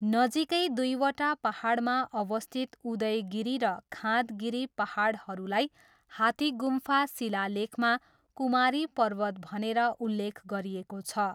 नजिकै दुईवटा पाहाडमा अवस्थित उदयगिरी र खाँदगिरी पाहाडहरूलाई हाथीगुम्फा शिलालेखमा कुमारी पर्वत भनेर उल्लेख गरिएको छ।